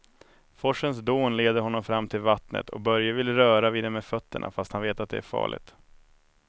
Forsens dån leder honom fram till vattnet och Börje vill röra vid det med fötterna, fast han vet att det är farligt.